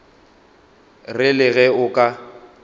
re le ge o ka